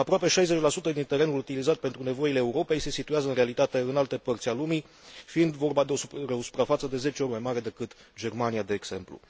Aproape 60 din terenurile utilizate pentru nevoile Europei se situează în realitate în alte părți ale lumii, fiind vorba de o suprafață de zece ori mai mare decât Germania, de exemplu.